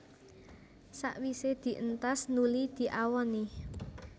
Sawisé dientas nuli diawoni